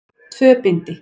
Tvö bindi.